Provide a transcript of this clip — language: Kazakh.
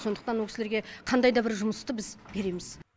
сондықтан ол кісілерге қандай да бір жұмысты біз береміз